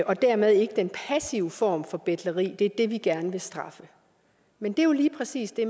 og dermed ikke den passive form for betleri gerne vil straffe men det er jo lige præcis det